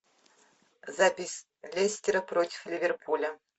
запись лестера против ливерпуля